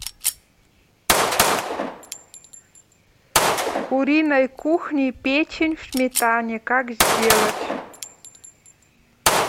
куриной кухни печень в сметане как сделать